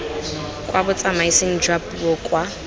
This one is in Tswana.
kwa botsamaising jwa puo kwa